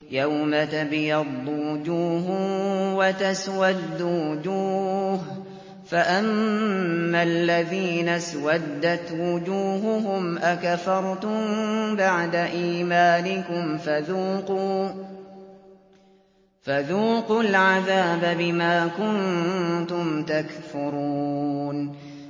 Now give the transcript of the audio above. يَوْمَ تَبْيَضُّ وُجُوهٌ وَتَسْوَدُّ وُجُوهٌ ۚ فَأَمَّا الَّذِينَ اسْوَدَّتْ وُجُوهُهُمْ أَكَفَرْتُم بَعْدَ إِيمَانِكُمْ فَذُوقُوا الْعَذَابَ بِمَا كُنتُمْ تَكْفُرُونَ